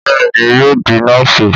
Bẹ́ẹ̀ ni, yóò di nọ́ọ̀sì